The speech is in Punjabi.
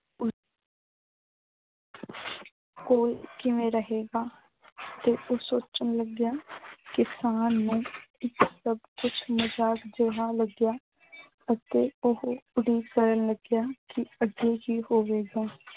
ਕੋਲ ਕਿਵੇਂ ਰਹੇਗਾ ਤੇ ਉਹ ਸੋਚਣ ਲੱਗਿਆ ਕਿਸਾਨ ਨੂੰ ਇੱਕ ਸਭ ਕੁੱਛ ਮਜ਼ਾਕ ਜਿਆ ਲੱਗਿਆ ਅਤੇ ਓਹੋ ਉਡੀਕ ਕਰਨ ਲੱਗਿਆ ਕਿ ਅੱਗੇ ਕੀ ਹੋਵੇਗਾ।